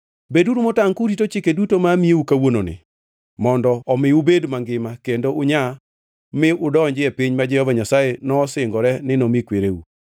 Beduru motangʼ kurito chike duto ma amiyou kawuononi, mondo omi ubed mangima kendo unyaa mi udonji e piny ma Jehova Nyasaye nosingore ni nomi kwereu.